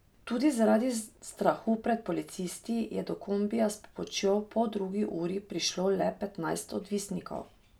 Tudi zaradi strahu pred policisti je do kombija s pomočjo v poldrugi uri prišlo le petnajst odvisnikov.